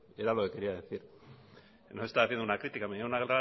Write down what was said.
que era lo que quería decir no estaba haciendo una crítica me llevé una